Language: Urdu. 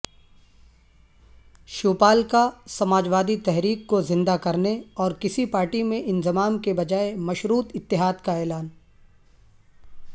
شیوپال کا سماجوادی تحریک کو زندہ کرنے اورکسی پارٹی میں انضمام کےبجائےمشروط اتحاد کا اعلان